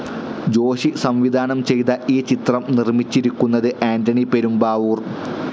ജോഷി സംവിധാനം ചെയ്ത ഈ ചിത്രം നിർമ്മിച്ചിരിക്കുന്നത് ആന്റണി പെരുമ്പാവൂർ.